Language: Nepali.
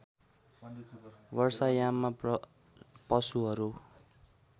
वर्षा याममा पशुहरू